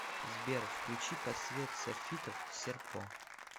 сбер включи под свет софитов серпо